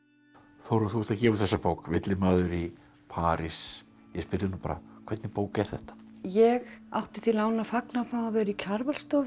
Þórunn þú ert að gefa út þessa bók villimaður í París ég spyr þig nú bara hvernig bók er þetta ég átti því láni að fagna að að vera í Kjarvalsstofu